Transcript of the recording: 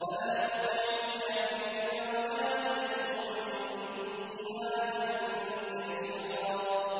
فَلَا تُطِعِ الْكَافِرِينَ وَجَاهِدْهُم بِهِ جِهَادًا كَبِيرًا